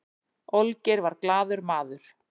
olgeir var glaður maður